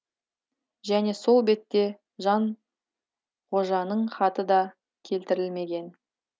және сол бетте жанғожаның хаты да келтірілмеген